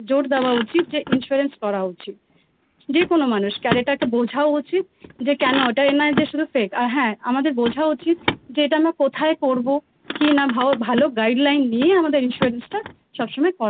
জোর দেওয়া উচিত যে Insurance করা উচিত যেকোন মানুষকে বোঝাও উচিত আর এটা একটা বোঝাও উচিত যে কেন ওটা এই নয় যে শুধু Fake আর হ্যাঁ আমাদের বোঝা উচিত যে এটা আমরা কোথায় করব কী না ভাল Guide line নিয়ে আমাদের Insurance টা সবসময়